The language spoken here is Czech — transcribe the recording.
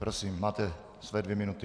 Prosím, máte své dvě minuty.